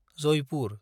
Jaipur